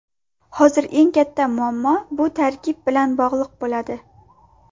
Hozir eng katta muammo bu tarkib bilan bog‘liq bo‘ladi.